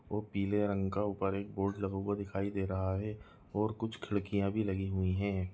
वो पीले रंग का ऊपर एक बोर्ड लगा हुआ दिखाई दे रहा है और कुछ खिड़कियां भी लगी हुई है।